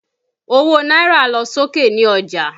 Owó náírà lọ sókè ní ọjà